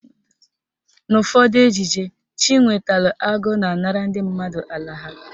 N'ụfọdụ ejije, Chinwetalụ Agụ na-anara ndị mmadụ ala ha.